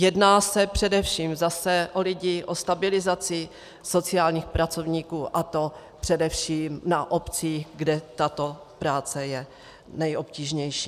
Jedná se především zase o lidi, o stabilizaci sociálních pracovníků, a to především na obcích, kde tato práce je nejobtížnější.